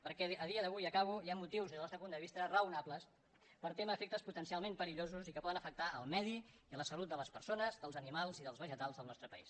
perquè a dia d’avui i acabo hi ha motius des del nostre punt de vista raonables per témer efectes potencialment perillosos i que poden afectar el medi i la salut de les persones dels animals i dels vegetals del nostre país